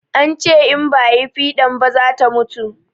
An ce in ba ayi fiɗan ba zata mutu